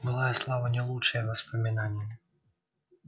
былая слава не лучшее воспоминание